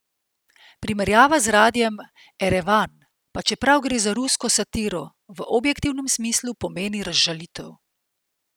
Primerjava z radiem Erevan, pa čeprav gre za rusko satiro, v objektivnem smislu pomeni razžalitev.